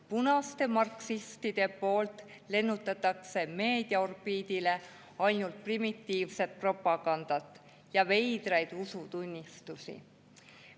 Punaste marksistide poolt lennutatakse meediaorbiidile ainult primitiivset propagandat ja veidraid usutunnistusi.